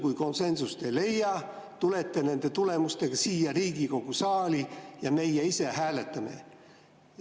Kui konsensust ei leia, tulete nende tulemustega siia Riigikogu saali ja meie ise hääletame.